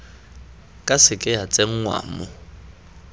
ka seke ya tsenngwa mo